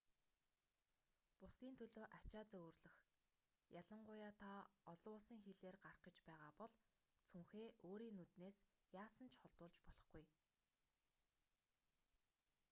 бусдын төлөө ачаа зөөвөрлөх ялангуяа та олон улсын хилээр гарах гэж байгаа бол цүнхээ өөрийн нүднээс яасан ч холдуулж болохгүй